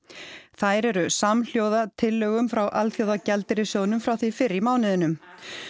þær eru samhljóða tillögum frá Alþjóðagjaldeyrissjóðnum frá því fyrr í mánuðinum